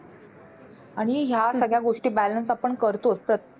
आणि ह्या सगळ्या गोष्टी आपण balance करतोच.